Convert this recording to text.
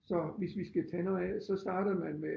Så hvis vi skal tage noget af så starter man med